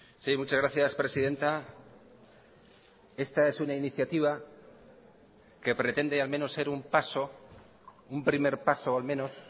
sí muchas gracias presidenta esta es una iniciativa que pretende al menos ser un paso un primer paso al menos